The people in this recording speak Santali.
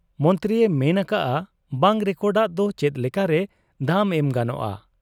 ᱢᱚᱱᱛᱨᱤᱭᱮ ᱢᱮᱱ ᱟᱠᱟᱜ ᱟ ᱵᱟᱝ ᱨᱮᱠᱚᱰᱟᱜ ᱫᱚ ᱪᱮᱫ ᱞᱮᱠᱟᱨᱮ ᱫᱟᱢ ᱮᱢ ᱜᱟᱱᱚᱜ ᱟ ?